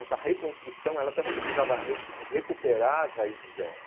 Essa reconstrução ela também precisava re recuperar as raízes dela.